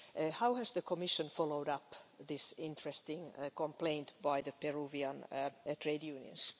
How has the Commission followed up this interesting complaint by the Peruvian trade unions?